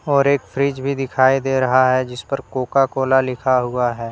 और एक फ्रिज भी दिखाई दे रहा है जिस पर कोका कोला लिखा हुआ है।